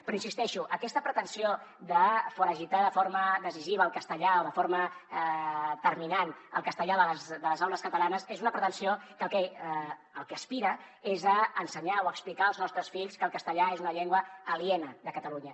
però hi insisteixo aquesta pretensió de foragitar de forma decisiva o de forma terminant el castellà de les aules catalanes és una pretensió que al que aspira és a ensenyar o a explicar als nostres fills que el castellà és una llengua aliena de catalunya